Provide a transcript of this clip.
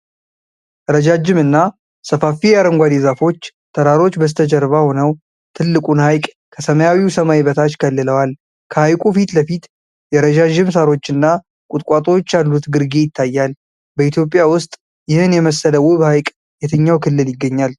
ረጅምና ሰፋፊ የአረንጓዴ ዛፎች ተራሮች በስተጀርባ ሆነው ትልቁን ሐይቅ ከሰማያዊ ሰማይ በታች ከልለዋል። ከሐይቁ ፊት ለፊት የረዣዥም ሣሮችና ቁጥቋጦዎች ያሉት ግርጌ ይታያል። በኢትዮጵያ ውስጥ ይህን የመሰለ ውብ ሐይቅ የትኛው ክልል ይገኛል?